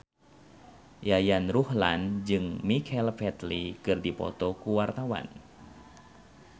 Yayan Ruhlan jeung Michael Flatley keur dipoto ku wartawan